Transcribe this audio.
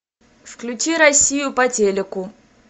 включи россию по телеку